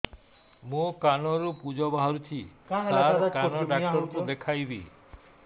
ମୋ କାନରୁ ପୁଜ ବାହାରୁଛି ସାର କାନ ଡକ୍ଟର କୁ ଦେଖାଇବି